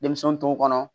Denmisɛnw tɔw kɔnɔ